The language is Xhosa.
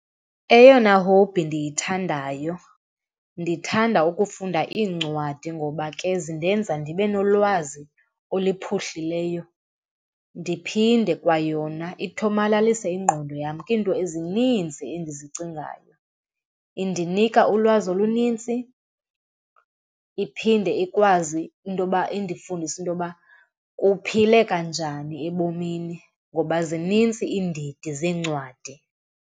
Eyona hobhi ndiyithandayo, ndithanda ukufunda iincwadi ngoba ke zindenza ndibe nolwazi oluphuhlileyo, ndiphinde kwayona ithomalalise ingqondo yam kwiinto ezininzi endizicingayo. Indinika ulwazi olunintsi, iphinde ikwazi intoba indifundise intoba kuphileka njani ebomini ngoba zinintsi iindidi zeencwadi.